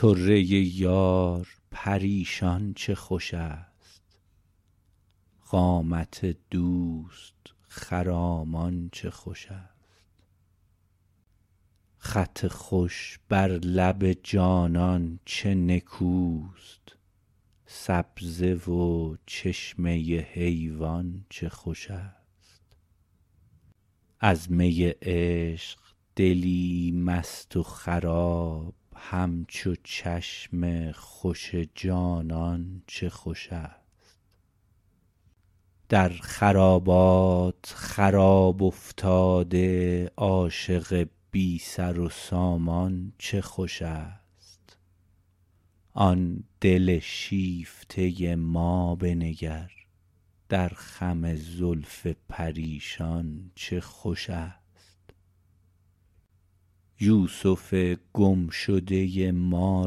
طره یار پریشان چه خوش است قامت دوست خرامان چه خوش است خط خوش بر لب جانان چه نکوست سبزه و چشمه حیوان چه خوش است از می عشق دلی مست و خراب همچو چشم خوش جانان چه خوش است در خرابات خراب افتاده عاشق بی سر و سامان چه خوش است آن دل شیفته ما بنگر در خم زلف پریشان چه خوش است یوسف گم شده ما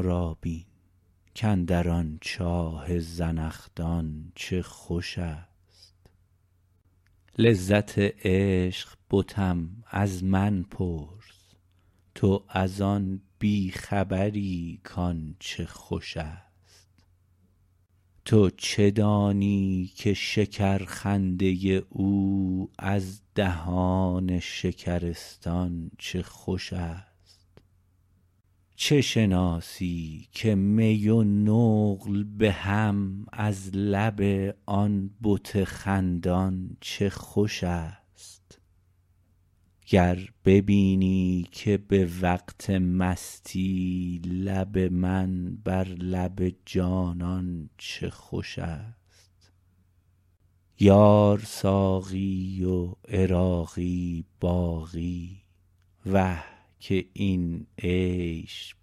را بین کاندر آن چاه زنخدان چه خوش است لذت عشق بتم از من پرس تو از آن بی خبری کان چه خوش است تو چه دانی که شکر خنده او از دهان شکرستان چه خوش است چه شناسی که می و نقل بهم از لب آن بت خندان چه خوش است گر ببینی که به وقت مستی لب من بر لب جانان چه خوش است یار ساقی و عراقی باقی وه که این عیش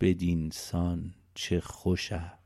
بدینسان چه خوش است